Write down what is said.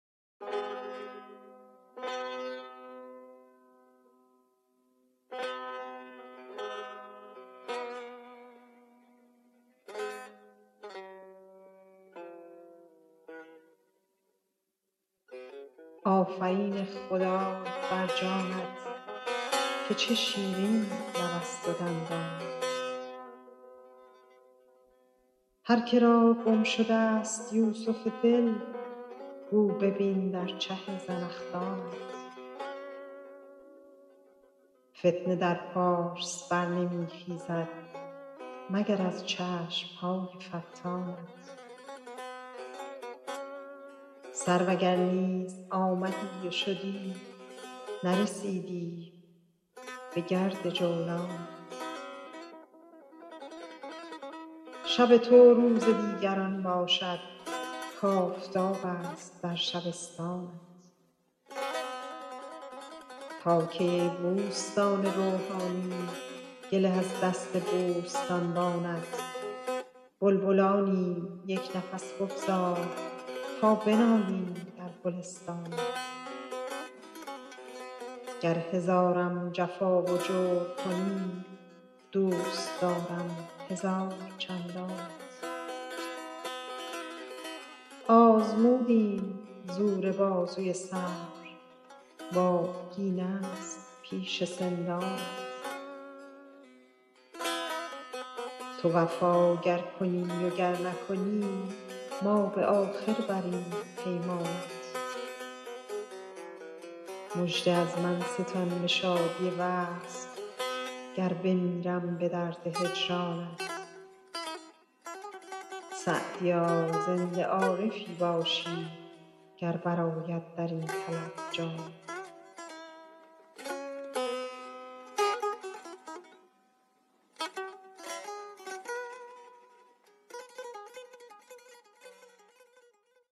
آفرین خدای بر جانت که چه شیرین لبست و دندانت هر که را گم شدست یوسف دل گو ببین در چه زنخدانت فتنه در پارس بر نمی خیزد مگر از چشم های فتانت سرو اگر نیز آمدی و شدی نرسیدی بگرد جولانت شب تو روز دیگران باشد کآفتابست در شبستانت تا کی ای بوستان روحانی گله از دست بوستانبانت بلبلانیم یک نفس بگذار تا بنالیم در گلستانت گر هزارم جفا و جور کنی دوست دارم هزار چندانت آزمودیم زور بازوی صبر و آبگینست پیش سندانت تو وفا گر کنی و گر نکنی ما به آخر بریم پیمانت مژده از من ستان به شادی وصل گر بمیرم به درد هجرانت سعدیا زنده عارفی باشی گر برآید در این طلب جانت